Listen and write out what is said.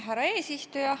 Härra eesistuja!